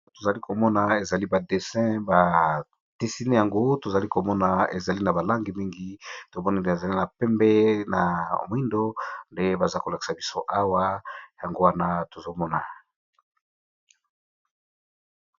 Tozali komona ezali ba desin ba desine yango tozali komona ezali na ba langi mingi tomoneli ezali na pembe na moyindo nde baza kolakisa biso awa yango wana tozomona.